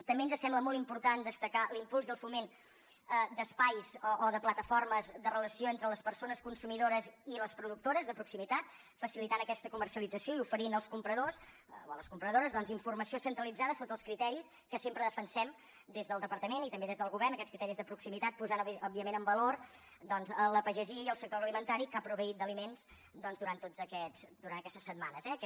també ens sembla molt important destacar l’impuls i el foment d’espais o de plataformes de relació entre les persones consumidores i les productores de proximitat i facilitar aquesta comercialització i oferir als compradors o a les compradores informació centralitzada sota els criteris que sempre defensem des del departament i també des del govern aquests criteris de proximitat i posar òbviament en valor doncs la pagesia i el sector agroalimentari que ha proveït d’aliments durant aquestes setmanes eh aquest